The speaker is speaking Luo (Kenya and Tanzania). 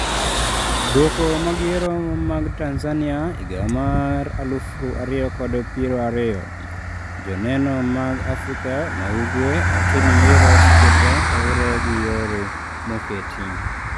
Duoko mag yiero mag Tanzania higa mar aluf ariyokod prariyo: Joneno mag Afrika ma Ugwe wacho ni yiero osetimre kaluwore gi yore moketi